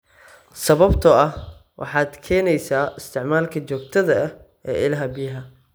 sababtoo ah waxaad keenaysaa isticmaalka joogtada ah ee ilaha biyaha.